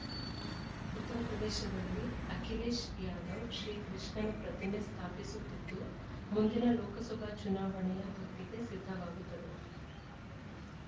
ಉತ್ತರ ಪ್ರದೇಶದಲ್ಲಿ ಅಖಿಲೇಶ್‌ ಯಾದವ್‌ ಶ್ರೀಕೃಷ್ಣ ನ ಪ್ರತಿಮೆ ಸ್ಥಾಪಿಸುತ್ತಿದ್ದು ಮುಂದಿನ ಲೋಕಸಭಾ ಚುನಾವಣೆಯ ಹೊತ್ತಿಗೆ ಸಿದ್ಧವಾಗುತ್ತದೆ